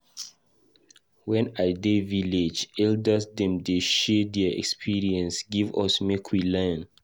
Wen I dey village, elders dem dey share their experience give us make we learn.